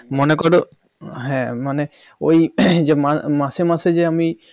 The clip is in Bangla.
মনে কর হ্যাঁ কোন মানে ওই মাসে মাসে যে আমি